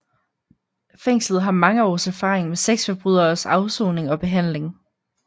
Fængslet har mange års erfaring med sexforbryderes afsoning og behandling